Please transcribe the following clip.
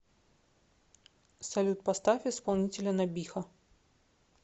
салют поставь исполнителя набиха